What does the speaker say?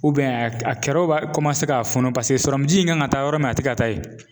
a kɛrɛw u b'a ka funun paseke in kan ka taa yɔrɔ min na, a tɛ ka taa yen.